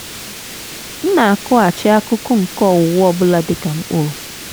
m na-akụghachi akụkụ nke owuwe ọ bụla dị ka mkpụrụ.